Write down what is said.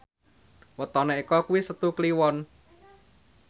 wetone Eko kuwi Setu Kliwon